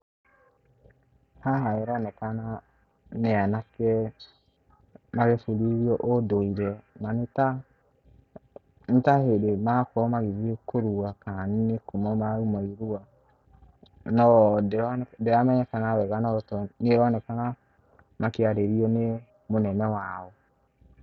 Haha ĩronekana nĩ anake magĩbundithio ũndũire na nĩ ta hĩndĩ marakorwo magĩthiĩ kũrua kana nĩkuuma marauma irua .No ndĩramenyekana weega no maroneka makĩarĩrio nĩ mũnene wao.